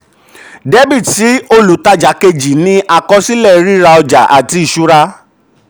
debit sí olùtajà dr sí olùtajà kejì ni àkọsílẹ: ríra ọjà àti ìṣura.